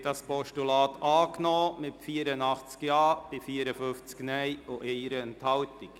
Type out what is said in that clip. Sie haben das Postulat angenommen mit 84 Ja- zu 54 Nein-Stimmen bei 1 Enthaltung.